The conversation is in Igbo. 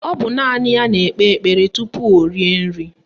Ọ bụ naanị ya na-ekpe ekpere tupu o rie nri